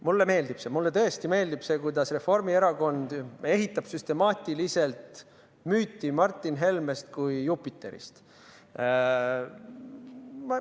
Mulle meeldib see, mulle tõesti meeldib see, kuidas Reformierakond ehitab süstemaatiliselt müüti Martin Helmest kui Jupiterist.